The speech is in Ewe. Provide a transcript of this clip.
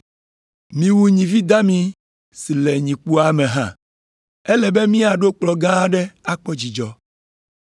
Miwu nyivi dami si le nyikpoa me hã. Ele be míaɖo kplɔ̃ gã aɖe akpɔ dzidzɔ.